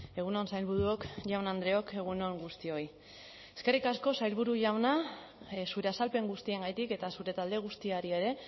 egun on sailburuok jaun andreok egun on guztioi eskerrik asko sailburu jauna zure azalpen guztiengatik eta zure talde guztiari ere